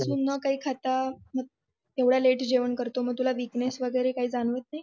न काही खाता एवढं लेट जेवण करतो मग तुला विकनेस वैगेरे काही जाणवत नाही